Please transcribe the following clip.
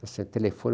Você telefona.